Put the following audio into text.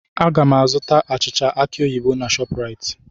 Aga m ga-azụta achịcha aki oyibo na ShopRite.